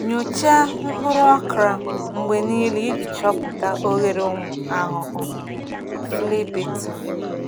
Nyochaa mkpụrụ okra mgbe niile iji chọpụta oghere ụmụ ahụhụ flea beetle.